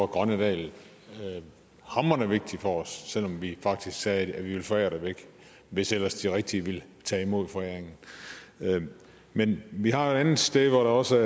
grønnedal hamrende vigtig for os selv om vi faktisk sagde at vi ville forære det væk hvis ellers de rigtige ville tage imod foræringen men vi har et andet sted hvor der også